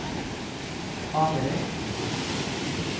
Averøy